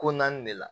Ko naani de la